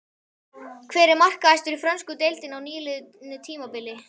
Hver var markahæstur í frönsku deildinni á nýliðnu tímabili?